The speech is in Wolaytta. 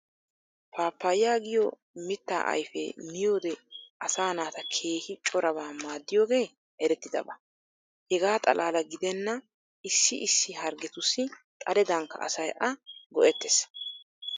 Paapaya giyoo mitta ayfee miyoode asaa naata keehi corabaa maaddiyooge erettidaba. Hegaa xalaala gidenna issi issi harggetussi xaledankka asay a go'ettes.